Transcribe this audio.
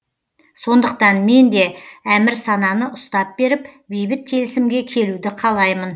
сондықтан мен де әмірсананы ұстап беріп бейбіт келісімге келуді қалаймын